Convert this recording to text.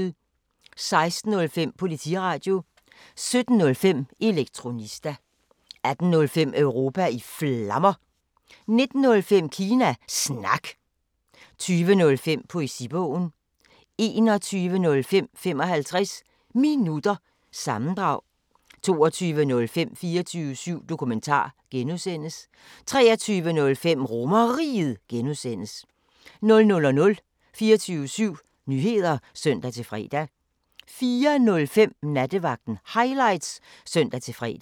16:05: Politiradio 17:05: Elektronista 18:05: Europa i Flammer 19:05: Kina Snak 20:05: Poesibogen 21:05: 55 Minutter – sammendrag 22:05: 24syv Dokumentar (G) 23:05: RomerRiget (G) 00:00: 24syv Nyheder (søn-fre) 04:05: Nattevagten Highlights (søn-fre)